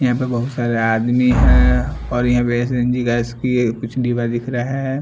यहाँ पे बहुत सारे आदमी हैं और यहाँ पे सी_एन_जी गैस की एक कुछ डिब्बा दिख रहा हैं।